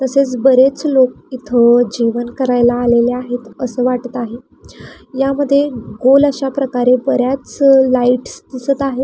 तसेच बरेच लोक इथ जेवण करायला आलेले आहेत अस वाटत आहे यामध्ये गोल अश्या प्रकारे बऱ्याच लाइटस दिसत आहेत.